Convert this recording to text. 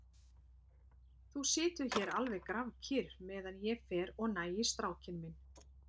Þú situr hér alveg grafkyrr meðan ég fer og næ í strákinn minn.